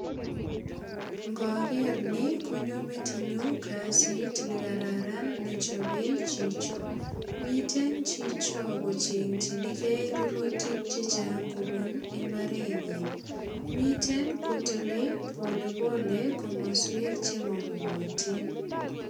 Ngoker ni konyo metinyu kasit nekararan nechope chicho. Mitei chicho kochengchini ge rurutik che chang kobun imbarenyin. Mitei kotile polepole komoswek che momokotin.